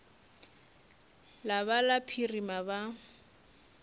la ba la phirima ba